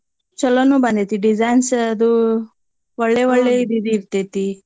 ಚೊಲೋನೂ ಬಂದೀತಿ designs ಅದು ಒಳ್ಳೇ ಇರ್ತೇತಿ.